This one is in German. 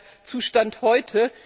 Das ist der Zustand heute.